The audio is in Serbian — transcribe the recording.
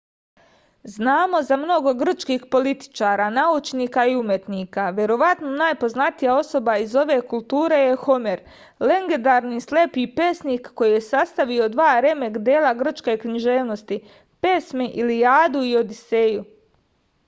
znamo za mnogo grčkih političara naučnika i umetnika verovatno najpoznatija osoba iz ove kulture je homer legendarni slepi pesnik koji je sastavio dva remek-dela grčke književnosti pesme ilijadu i odiseju